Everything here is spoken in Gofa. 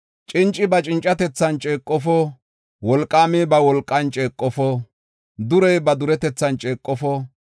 “Cinci ba cincatethan ceeqofo; wolqaami ba wolqan ceeqofo; durey ba duretethan ceeqofo.